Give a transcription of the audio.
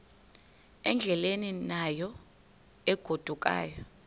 endleleni yayo egodukayo